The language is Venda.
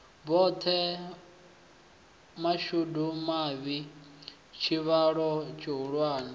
zwoṱhe mashudu mavhi tshivhalo tshihulwane